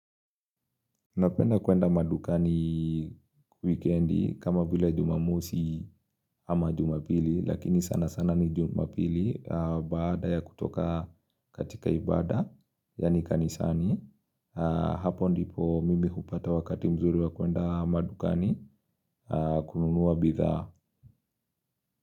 Napenda kwenda madukani wikendi kama vila jumamosi ama jumapili Lakini sana sana ni jumapili baada ya kutoka katika ibada Yani kanisani Hapo ndipo mimi kupata wakati mzuri wa kwenda madukani kununuwa bidhaaa.